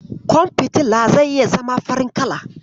Ƙwan fitila zai iya zama farin kala.